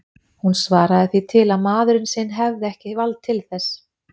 Hún svaraði því til að maðurinn sinn hefði ekki vald til þess.